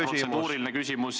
See ei ole protseduuriline küsimus.